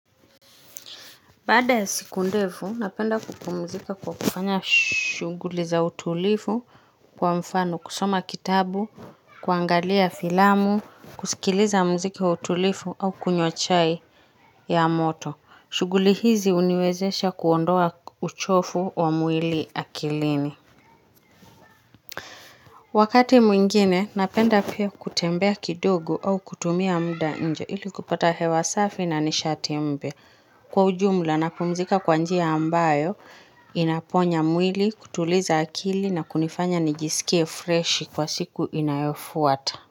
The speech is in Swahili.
Baada siku ndefu, napenda kupumzika kwa kufanya shughuli za utulivu kwa mfano, kusoma kitabu, kuangalia filamu, kusikiliza muziki wa utulivu au kunywa chai ya moto. Shughuli hizi huniwezesha kuondoa uchovu wa mwili akilini. Wakati mwingine, napenda pia kutembea kidogo au kutumia muda nje ili kupata hewa safi na nishati mypa. Kwa ujumla napumzika kwa njia ambayo inaponya mwili kutuliza akili na kunifanya nijisikie fresh kwa siku inayofuata.